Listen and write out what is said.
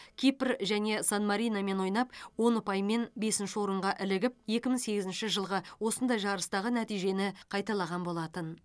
кипр және сан мариномен ойнап он ұпаймен бесінші орынға ілігіп екі мың сегізінші жылғы осындай жарыстағы нәтижені қайталаған болатын